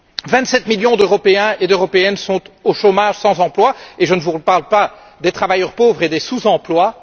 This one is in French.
Vingt sept millions d'Européens et d'Européennes sont au chômage, sans emploi, et je ne vous parle pas des travailleurs pauvres et des sous emplois.